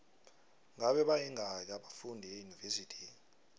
ngabe bayingaki abafundi eunivesithi